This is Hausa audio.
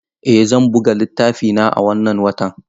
Eh zan buga littafina a wannan watan.